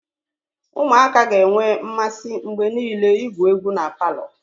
Ụmụaka ga-enwe mmasị mgbe niile igwu egwu palọ.